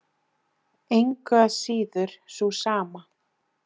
Engu að síður sú sama.